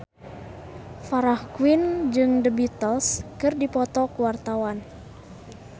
Farah Quinn jeung The Beatles keur dipoto ku wartawan